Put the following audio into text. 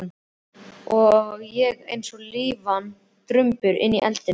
Og ég eins og lífvana drumbur inni í eldinum.